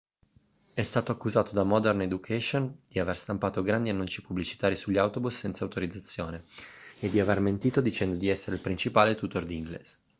è stato accusato da modern education di aver stampato grandi annunci pubblicitari sugli autobus senza autorizzazione e di aver mentito dicendo di essere il principale tutor di inglese